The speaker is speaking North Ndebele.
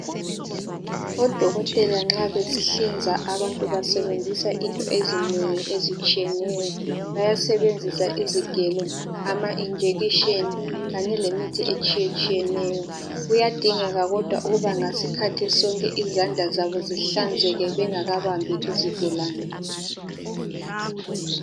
Odokotela nxa behlinza abantu besebenzisa into ezinengi ezitshiyeneyo bayasebenzisa izigelo amajekiseni kanye lemithi etshiye tshiyeneyo kuyadingeka kodwa ukuba ngasikhathi sonke izandla zabo zihlanzeke bengakabambi izigulane.